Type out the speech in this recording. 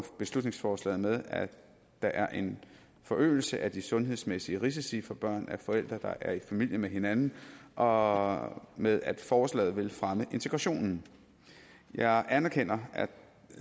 beslutningsforslaget med at der er en forøgelse af de sundhedsmæssige risici for børn af forældre der er i familie med hinanden og med at forslaget vil fremme integrationen jeg anerkender